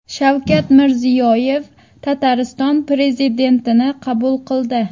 Shavkat Mirziyoyev Tatariston prezidentini qabul qildi .